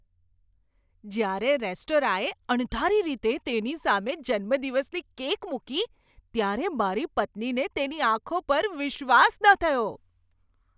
જ્યારે રેસ્ટોરાંએ અણધારી રીતે તેની સામે જન્મદિવસની કેક મૂકી ત્યારે મારી પત્નીને તેની આંખો પર વિશ્વાસ ન થયો.